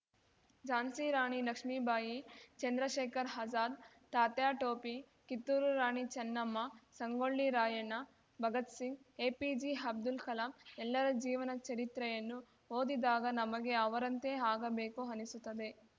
ಝಾನ್ಸ್ಸಿರಾಣಿ ಲಕ್ಷ್ಮೀಬಾಯಿ ಚಂದ್ರಶೇಖರ್‌ ಅಜಾದ್‌ ತಾತ್ಯಾಟೋಪಿ ಕಿತ್ತೂರು ರಾಣಿ ಚೆನ್ನಮ್ಮ ಸಂಗೋಳ್ಳಿ ರಾಯಣ್ಣ ಭಗತ್‌ ಸಿಂಗ್‌ ಎಪಿಜೆಅಬ್ದುಲ್‌ ಕಲಾಂ ಎಲ್ಲರ ಜೀವನ ಚರಿತ್ರೆಯನ್ನು ಓದಿದಾಗ ನಮಗೆ ಅವರಂತೆ ಆಗಬೇಕು ಅನಿಸುತ್ತದೆ